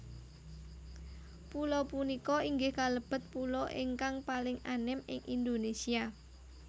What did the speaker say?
Pulo punika inggih kalebet pulo ingkang paling anem ing Indonésia